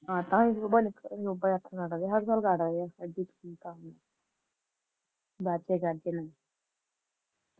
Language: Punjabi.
ਵਾਜੇ ਗਾਜੇ ਨਾਲ